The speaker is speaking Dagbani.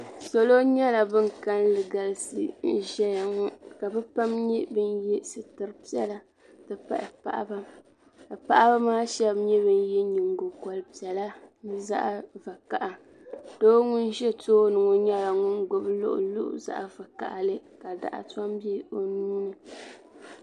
Salo nyɛla ban kalinli galisi n ʒɛya ka be pam ye sitiri piɛlla n ti pahi paɣaba ka paɣaba shaba nye bin ye nyingokɔri piɛlla ni zaɣa vakaha doo ŋun ʒɛ tooni ŋɔ nyɛla ŋun gbubi luɣuluɣu zaɣi vakahili ka dɔɣu tɔm bɛ o nuuni.